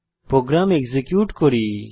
programme execute করি